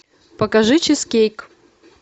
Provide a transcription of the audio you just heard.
покажи чизкейк